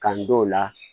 Kando o la